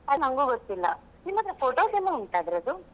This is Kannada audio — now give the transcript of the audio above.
ಅದು ನಂಗು ಗೊತ್ತಿಲ್ಲಾ, ನಿಮ್ಮತ್ರ photos ಎಲ್ಲ ಉಂಟಾ ಅದ್ರದ್ದು.